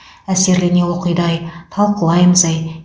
әсерлене оқиды ай талқылаймыз ай